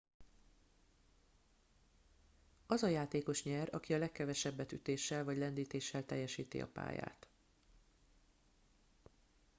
az a játékos nyer aki a legkevesebbet ütéssel vagy lendítéssel teljesíti a pályát